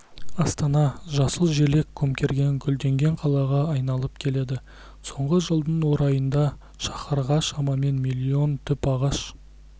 астана жасыл желек көмкерген гүлденген қалаға айналып келеді соңғы жылдың орайында шаһарға шамамен миллион түп ағаш